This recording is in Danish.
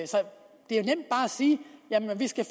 sige at vi skal